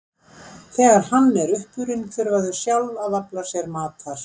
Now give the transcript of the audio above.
Þegar hann er uppurinn þurfa þau sjálf að afla sér matar.